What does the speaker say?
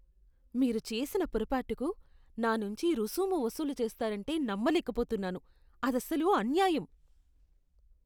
మీరు చేసిన పొరపాటుకు నా నుంచి రుసుము వసూలు చేస్తారంటే నమ్మలేకపోతున్నాను. అదసలు అన్యాయం.